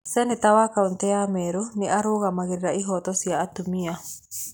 Seneta wa kaũntĩ ya Meru nĩ arũgamagĩrĩra ĩhooto cia atumia.